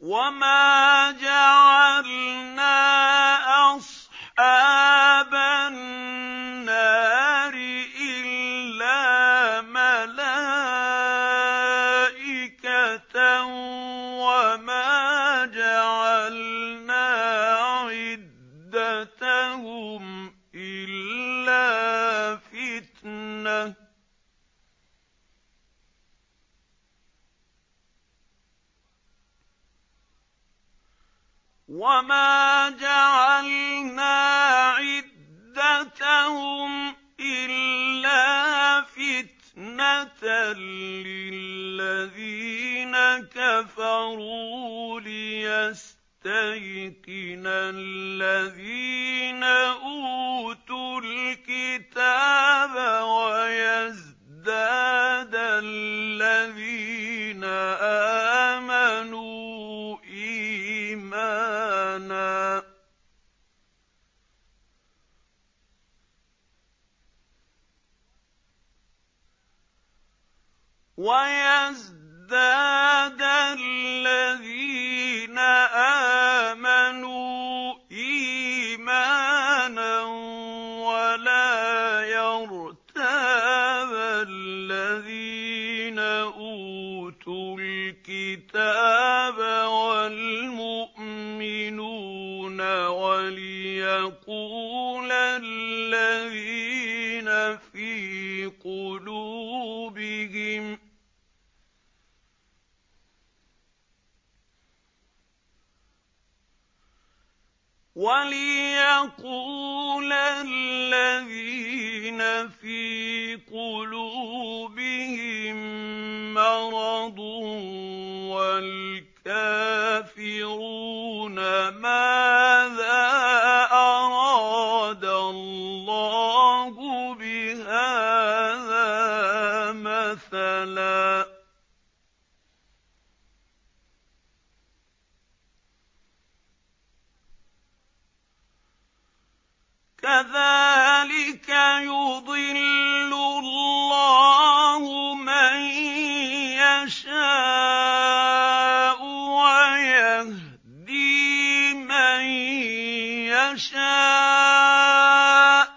وَمَا جَعَلْنَا أَصْحَابَ النَّارِ إِلَّا مَلَائِكَةً ۙ وَمَا جَعَلْنَا عِدَّتَهُمْ إِلَّا فِتْنَةً لِّلَّذِينَ كَفَرُوا لِيَسْتَيْقِنَ الَّذِينَ أُوتُوا الْكِتَابَ وَيَزْدَادَ الَّذِينَ آمَنُوا إِيمَانًا ۙ وَلَا يَرْتَابَ الَّذِينَ أُوتُوا الْكِتَابَ وَالْمُؤْمِنُونَ ۙ وَلِيَقُولَ الَّذِينَ فِي قُلُوبِهِم مَّرَضٌ وَالْكَافِرُونَ مَاذَا أَرَادَ اللَّهُ بِهَٰذَا مَثَلًا ۚ كَذَٰلِكَ يُضِلُّ اللَّهُ مَن يَشَاءُ وَيَهْدِي مَن يَشَاءُ ۚ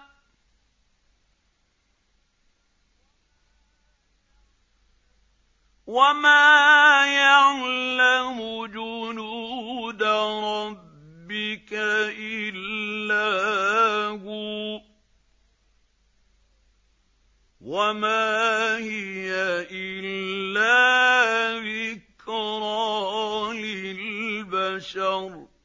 وَمَا يَعْلَمُ جُنُودَ رَبِّكَ إِلَّا هُوَ ۚ وَمَا هِيَ إِلَّا ذِكْرَىٰ لِلْبَشَرِ